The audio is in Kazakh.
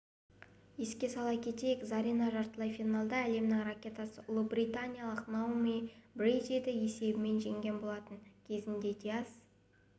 еске сала кетейік зарина жартылай финалда әлемнің ракеткасы ұлыбританиялық наоми брэдиді есебімен жеңген болатын кезінде диас